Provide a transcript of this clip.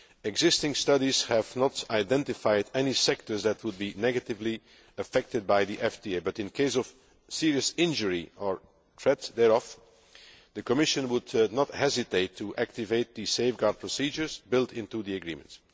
Existing studies have not identified any sectors that would be negatively affected by the FTA, but in case of serious injury or threat thereof, the Commission would not hesitate to activate the safeguard procedures built into the agreement.